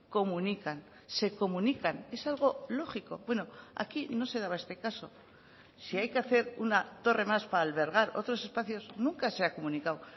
comunican se comunican es algo lógico bueno aquí no se daba este caso si hay que hacer una torre más para albergar otros espacios nunca se ha comunicado